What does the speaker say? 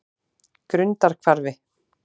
Grundarhvarfi